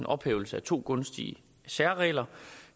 ophævelse af to gunstige særregler